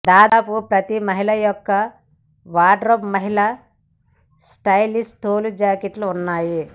దాదాపు ప్రతి మహిళ యొక్క వార్డ్రోబ్ మహిళల స్టైలిష్ తోలు జాకెట్లు ఉన్నాయి